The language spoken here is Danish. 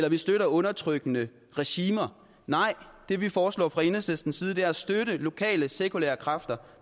at vi støtter undertrykkende regimer nej det vi foreslår fra enhedslistens side er at støtte lokale sekulære kræfter